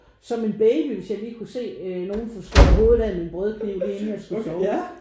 Som en baby hvis jeg lige kunne se nogen få slå hovedet af med en brødkniv lige inden jeg skulle sove